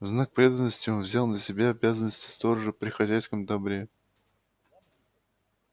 в знак преданности он взял на себя обязанности сторожа при хозяйском добре